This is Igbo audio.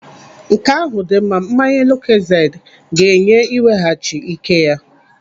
Nke ahụ dị mma. Mmanya lukozedi ga-enye iweghachi ike ya.